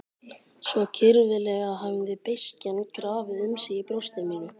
Svo kyrfilega hafði beiskjan grafið um sig í brjósti mínu.